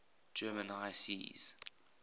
german high seas